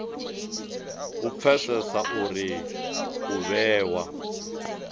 u pfesesa uri u vhewa